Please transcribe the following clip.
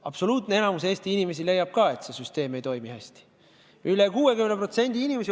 Absoluutne enamik Eesti inimesi leiab, et süsteem ei toimi hästi.